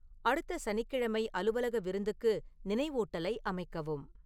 அடுத்த சனிக்கிழமை அலுவலக விருந்துக்கு நினைவூட்டலை அமைக்கவும்